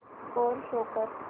score show कर